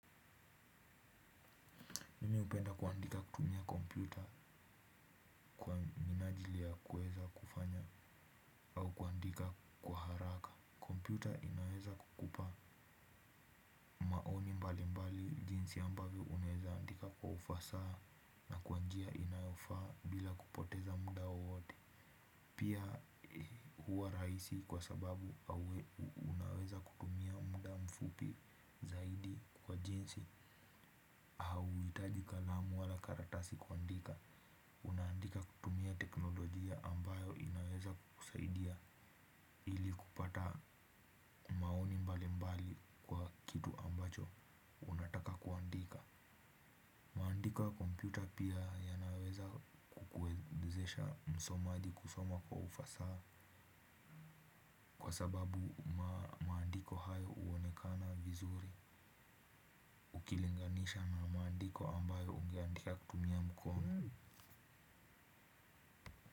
Mi hupenda kuandika kutumia kompyuta kwa minajili ya kuweza kufanya au kuandika kwa haraka. Kompyuta inaweza kukupa maoni mbali mbali jinsi ambavyo unaeza andika kwa ufasaha na kwa njia inayofaa bila kupoteza muda wowote. Pia huwa rahisi kwa sababu au unaweza kutumia muda mfupi zaidi kwa jinsi hauhitaji kalamu wala karatasi kuandika unaandika kutumia teknolojia ambayo inaweza kusaidia kupata maoni mbalimbali kwa kitu ambacho unataka kuandika maandiko ya kompyuta pia yanaweza kukuwezesha msomaji kusoma kwa ufasaha kwa sababu maandiko hayo uonekana vizuri ukilinganisha na maandiko ambayo ungeandika kutumia mkono.